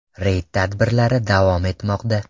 Reyd tadbirlari davom etmoqda.